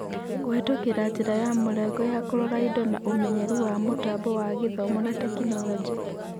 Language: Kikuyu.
Kũhetũkĩra njĩra ya mũrengo ya kũrora indo na ũmenyeru wa mũtambo wa Gĩthomo na tekinoronjĩ.